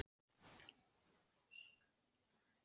Vinnu fyrir hádegi, át mamma upp eftir honum.